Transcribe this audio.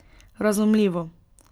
Razumljivo.